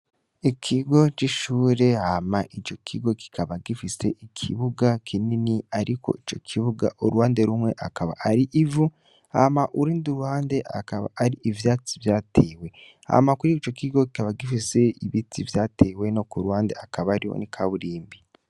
Ikigo c'ishure hama ico kigo kikaba gifise ikibuga kinini, ariko ico kibuga uruwande rumwe akaba ari ivu hama urindi uruande akaba ari ivyatsi vyatewe hama kuri ico kigo kikaba gifise ibiti vyatewe no ku rwande akaba ari wo ni kaburimbi.